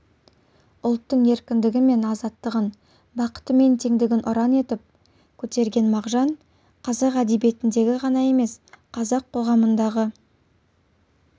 ұлттың еркіндігі мен азаттығын бақыты мен теңдігін ұран етіп көтерген мағжан қазақ әдебиетіндегі ғана емес қазақ қоғамындағы